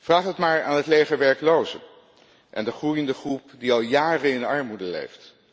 Vraag het maar aan het leger werklozen en de groeiende groep die al jaren in armoede leeft.